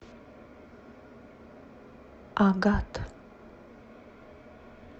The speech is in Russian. агат